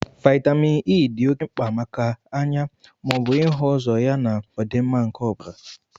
Vitamin E di ọke mkpa maka anya maọbụ ịhu ụzọ ya na ọdịmma nke ọbara